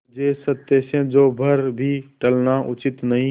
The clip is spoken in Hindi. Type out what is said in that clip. मुझे सत्य से जौ भर भी टलना उचित नहीं